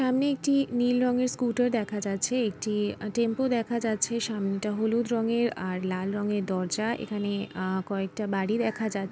সামনে একটি নীল রঙের স্কুটার দেখা যাচ্ছে একটি টেম্পু দেখা যাচ্ছে সামনেটা হলুদ রঙের আর লাল রঙের দরজা এখানে আ- কয়েকটা বাড়ি দেখা যাচ--